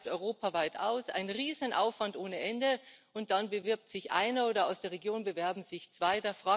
Man schreibt europaweit aus, ein Riesenaufwand ohne Ende, und dann bewirbt sich einer oder aus der Region bewerben sich zwei.